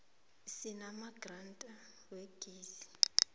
sinamadrada wegezi